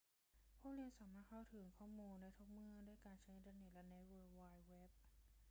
ผู้เรียนสามารถเข้าถึงข้อมูลได้ทุกเมื่อด้วยการใช้อินเทอร์เน็ตและเวิลด์ไวด์เว็บ